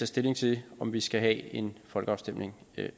stilling til om vi skal have en folkeafstemning